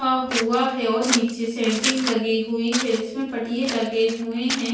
हुआ है और नीचे सेंटिंग लगी हुई है जिसमें पटिए लगे हुए हैं।